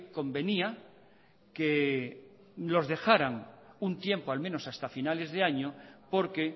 convenía que los dejaran un tiempo al menos hasta finales de año porque